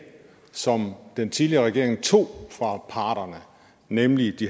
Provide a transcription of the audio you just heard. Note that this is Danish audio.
som den tidligere regering tog fra parterne nemlig